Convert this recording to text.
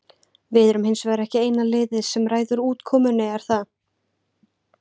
Við erum hins vegar ekki eina liðið sem ræður útkomunni, er það?